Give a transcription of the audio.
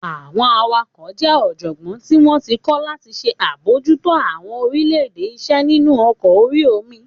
Àwọn awakọ̀ jẹ́ ọ̀jọ̀gbọ́n tí wọ́n ti kọ́ láti ṣe àbojútó àwọn oríṣiríṣi iṣẹ́ nínu ọkọ̀ orí omi